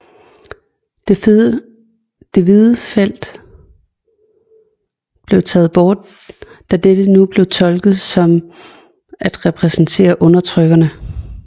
Det hvide felt blev taget bort da dette nu blev tolket som at repræsentere undertrykkerne